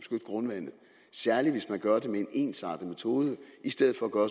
grundvandet særlig hvis man gør med en ensartet metode i stedet for at gøre